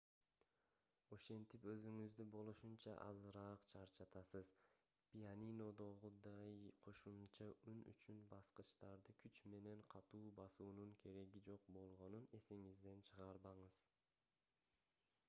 ошентип сиз өзүңүздү болушунча азыраак чарчатасыз пианинодогудай кошумча үн үчүн баскычтарды күч менен катуу басуунун кереги жок болгонун эсиңизден чыгарбаңыз